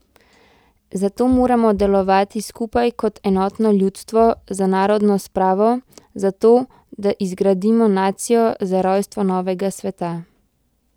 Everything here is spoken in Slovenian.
Zato moramo delovati skupaj kot enotno ljudstvo, za narodno spravo, za to, da izgradimo nacijo, za rojstvo novega sveta.